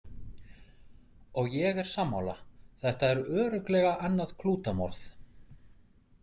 Og ég er sammála, þetta er örugglega annað klútamorð.